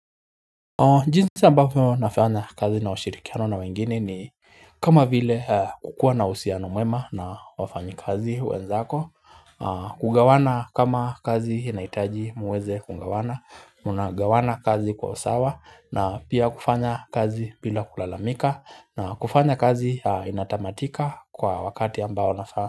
Jinsi ambavyo nafanya kazi na ushirikiano na wengine ni kama vile kukua na uhusiano mwema na wafanyikazi wenzako, kugawana kama kazi inahitaji muweze kugawana, mnagawana kazi kwa usawa na pia kufanya kazi bila kulalamika na kufanya kazi inatamatika kwa wakati ambao nafaa.